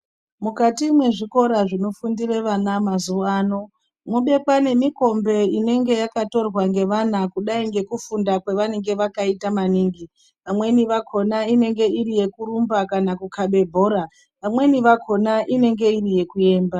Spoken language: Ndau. Mukati mwezvikora zvinofundire vana mazuwano mobekwa nemikombe inenge yakatorwa ngevana kudai ngekufunda kwavanenge vakaita maningi. Vamweni vakhona inenge iri yekurumba kana kukhabe bhora. Vamweni vakhona inenge iri yekuemba.